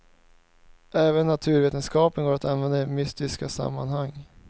Även naturvetenskapen går att använda i mystiska sammanhang.